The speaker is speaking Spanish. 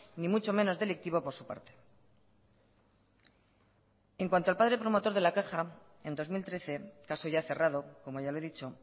ni mucho menos delictivo por su parte en cuanto al padre promotor de la caja en dos mil trece caso ya cerrado como ya le he dicho